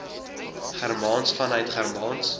germaans vanuit germaans